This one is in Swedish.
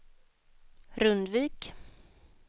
Rundvik